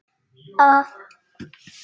Þarna er honum rétt lýst.